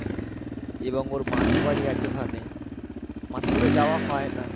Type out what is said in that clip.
এবং ওর মাসি বাড়ি আছে ওখানে মাসি বাড়ি যাওয়া হয় না